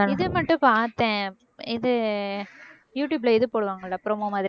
இது மட்டும் பாத்தேன் இது யூடுயூப்ல இது போடுவாங்கல்ல promo மாதிரி